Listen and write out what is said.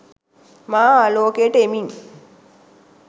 මා ආලෝකයට එමින්